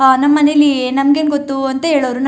ಆ ನಮ್ಮನೇಲಿ ನಮಗೇನು ಗೊತ್ತು ಅಂತ ಹೇಳೋರು --